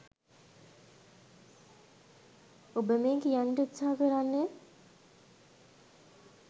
ඔබ මේ කියන්නට උත්සාහ කරන්නේ